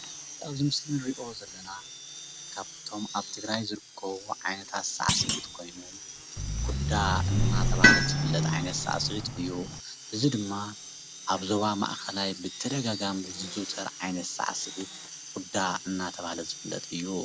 ኣብዚ ምስሊ እንርእዮ ዘለና ካብቶም ኣብ ትግራይ ዝርከቡ ዓይነታት ሳሲዒት ኮይኑ ኩዳ እናተባሃለ ዝፍለጥ ዓይነት ሳሲዒት እዩ፡፡ እዚ ድማ ኣብ ዞባ ማእከላይ ብተደጋጋሚ ዝዝዉተር ሳሲዒት ኩዳ እናተባሃለ ዝፍለጥ እዩ፡፡